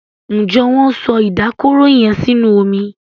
Njé Wón so Ìdákọrò yén sínú omí?